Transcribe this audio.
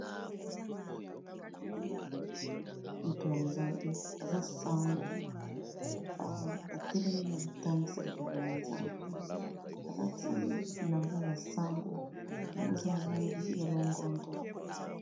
Ezali moto ya nzambe aza sango a telemi azo tangisa liloba ya nzambe, alati bilamba ya ba sango yango eza na langi ya longondo.